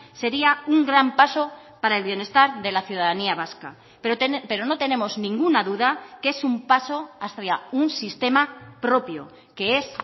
sería un gran paso para el bienestar de la ciudadanía vasca pero no tenemos ninguna duda que es un paso hacia un sistema propio que es